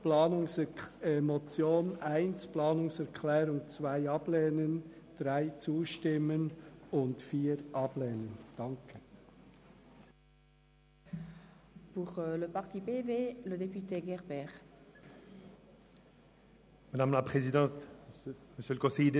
Die Motion 1 und die Planungserklärung 2 lehnen wir ab, der Planungserklärung 3 stimmen wir zu, und die Planungserklärung 4 lehnen wir ab.